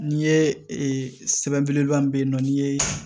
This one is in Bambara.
N'i ye sɛbɛn belebeleba min bɛ yen nɔ n'i ye